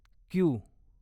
Q